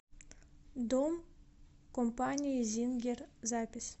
дом компании зингер запись